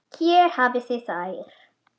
Hér hafið þið þær.